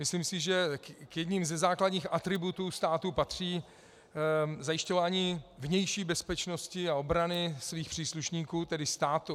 Myslím si, že k jednomu ze základních atributů státu patří zajišťování vnější bezpečnosti a obrany jeho příslušníků, tedy státu.